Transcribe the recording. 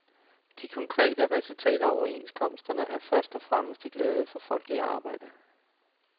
De konkrete resultater af overenskomsterne er først og fremmest til glæde for folk i arbejde.